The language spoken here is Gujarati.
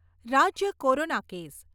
રાજ્ય કોરોના કેસ